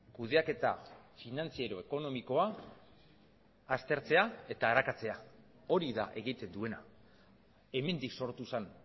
kudeaketa finantziero ekonomikoa aztertzea eta arakatzea hori da egiten duena hemendik sortu zen